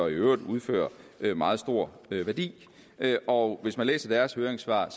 øvrigt udfører meget stor værdi og hvis man læser deres høringssvar